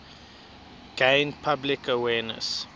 gain public awareness